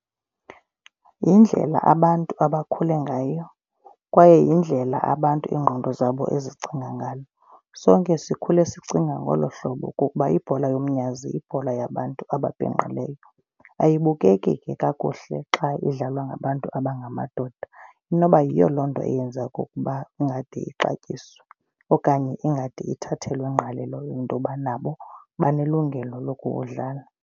Yindlela abantu abakhule ngayo kwaye yindlela abantu iingqondo zabo ezicinga ngayo. Sonke sikhule sicinga ngolo hlobo kukuba ibhola yomnyazi yibhola yabantu ababhinqileyo. Ayibukeki kakuhle xa idlalwa ngabantu abangamadoda. Inoba yiyo loo nto eyenza okokuba ingade ixatyiswe okanye ingade ithathelwe ngqalelo into yoba nabo banelungelo lokuwudlala.